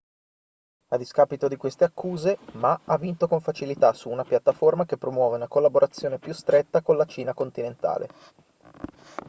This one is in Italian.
a discapito di queste accuse ma ha vinto con facilità su una piattaforma che promuove una collaborazione più stretta con la cina continentale